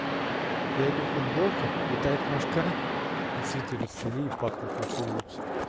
я иду в футболке летает мошка и цветы расцвели и пахнут на всю улицу